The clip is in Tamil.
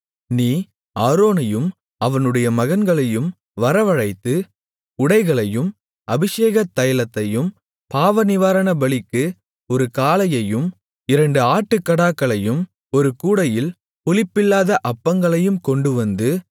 நீ ஆரோனையும் அவனுடைய மகன்களையும் வரவழைத்து உடைகளையும் அபிஷேகத் தைலத்தையும் பாவநிவாரணபலிக்கு ஒரு காளையையும் இரண்டு ஆட்டுக்கடாக்களையும் ஒரு கூடையில் புளிப்பில்லாத அப்பங்களையும் கொண்டுவந்து